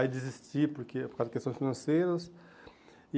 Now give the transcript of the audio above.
Aí desisti porque por causa de questões financeiras.